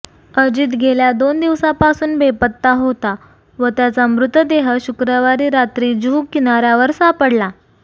अजित गेल्या दोन दिवसांपासून बेपत्ता होता व त्याचा मृतदेह शुक्रवारी रात्री जुहू किनाऱ्यावर सापडला